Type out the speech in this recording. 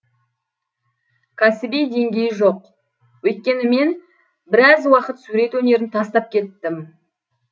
кәсіби деңгейі жоқ өйткені мен біраз уақыт сурет өнерін тастап кеттім